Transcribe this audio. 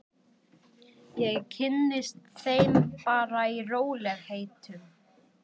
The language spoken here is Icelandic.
Ég kynnist þeim bara í rólegheitum.